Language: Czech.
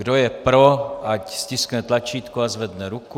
Kdo je pro, ať stiskne tlačítku a zvedne ruku.